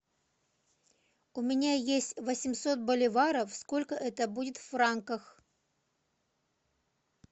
у меня есть восемьсот боливаров сколько это будет в франках